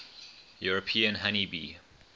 european honey bee